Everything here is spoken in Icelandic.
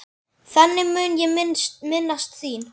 Þannig mun ég minnast þín.